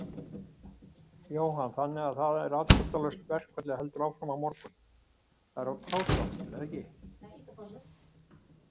Jóhann: Þannig að það er afdráttarlaust, verkfallið heldur áfram á morgun?